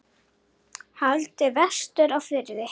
Haldið vestur á Firði